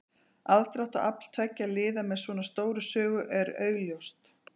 Aðdráttarafl tveggja liða með svona stóra sögu er augljóst.